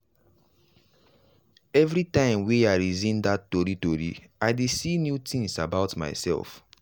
everytime wey i reason that tori tori i dey see new things about myself.